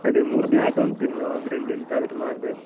ಅದೆ ಮೂರು ದಿವಸ ಉಂಟು ಇನ್ನೂಅದ್ರಲ್ಲಿ ಎಂತಾದ್ರು ಮಾಡ್ಬೇಕು.